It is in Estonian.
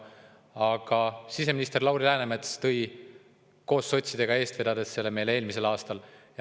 Aga siseminister Lauri Läänemets koos sotsidega seda eest vedades tõi selle eelnõu meile siia eelmisel aastal.